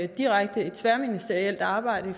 direkte tværministerielt arbejde